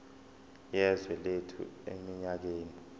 yezwe lethu eminyakeni